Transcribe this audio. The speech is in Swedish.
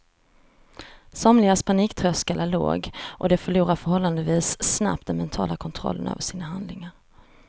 Somligas paniktröskel är låg och de förlorar förhållandevis snabbt den mentala kontrollen över sina handlingar.